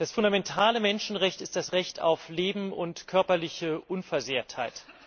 Das fundamentale Menschenrecht ist das Recht auf Leben und körperliche Unversehrtheit.